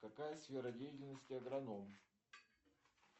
какая сфера деятельности агроном